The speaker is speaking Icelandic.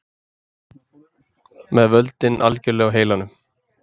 Með völdin algjörlega á heilanum